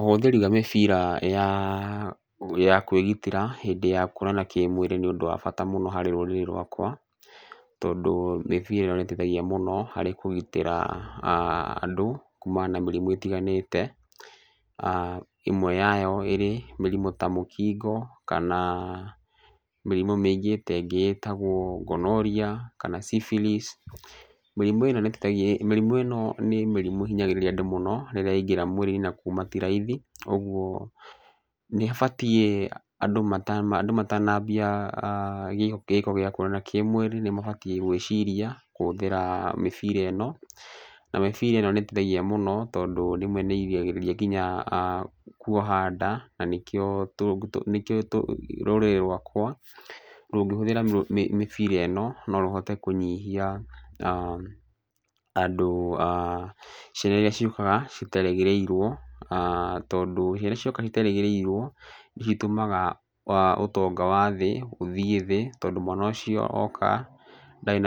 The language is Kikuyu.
Ũhũthĩri wa mĩbira ya kwĩgitĩra hĩndĩ ya kuonana kĩmwĩrĩ nĩ ũndũ wa bata mũno harĩ rũrĩrĩ rwakwa tondũ mĩbira ĩno nĩ ĩteithagia mũno harĩ kũgitĩra andũ kumana na mĩrimũ ĩtiganĩte. Ĩmwe yayo ĩrĩ mĩrimũ ta mũkingo kana mĩrimũ mĩingĩ ta ĩngĩ ĩtagwo Gonorrhea kana Syphilis. Mĩrimũ ĩno nĩ mĩrimũ ĩhinyagĩrĩria andũ mũno rĩrĩa yaingĩra mwĩrĩ-inĩ na kuma ti raithi. Ũguo nĩ ĩbatiĩ andũ matanambia gĩko gĩa kuonana kĩmwĩrĩ nĩ mabatiĩ gwĩciria kũhũthĩra mĩbira ĩno. Na mĩbira ĩno nĩ ĩteithagia mũno tondũ rĩmwe nĩ ĩgiragĩrĩria nginya kuoha nda, na nĩkĩo rũrĩrĩ rwakwa rũngĩhũthĩra mĩbira ĩno no rũhote kũnyihia na andũ a ciana irĩa ciũkaga citerĩgĩrĩirwo. Tondũ ciana irĩa ciũkaga iterĩgĩrĩirwo nĩ citũmaga ũtonga wa thĩ tondũ mwana ũcĩo oka ndarĩ